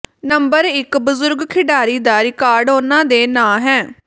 number ਇਕ ਬਜ਼ੁਰਗ ਖਿਡਾਰੀ ਦਾ ਰਿਕਾਰਡ ਉਨ੍ਹਾਂ ਦੇ ਨਾਂ ਹੈ